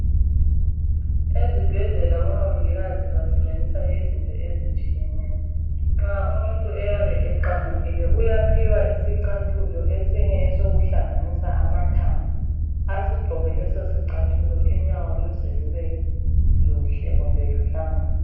Ezibhedlela omongikazi basebenzisa izinto ezitshiyeneyo, nxa umuntu eyabe eqamukile uyaphiwa isicathulo esinye esokuhlanganisa amathambo, asigqoke leso sicathulo unyawo luze lube luhle kumbe luhlangane.